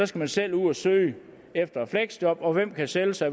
skal man selv ud at søge efter et fleksjob og hvem kan sælge sig